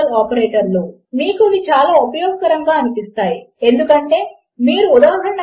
కనుక ఇది యూజర్ నుంచి వస్తుంది అని మీరు ఊహించినట్లు అయితే అది మీరు మీ యూజర్నేమ్ మరియు పాస్వర్డ్ లను టైప్ చేసినప్పుడు వచ్చింది